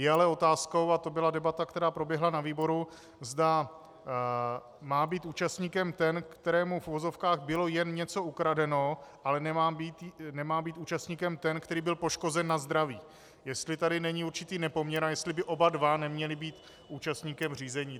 Je ale otázkou, a to byla debata, která proběhla na výboru, zda má být účastníkem ten, kterému v uvozovkách bylo jen něco ukradeno, ale nemá být účastníkem ten, který byl poškozen na zdraví, jestli tady není určitý nepoměr a jestli by oba dva neměli být účastníkem řízení.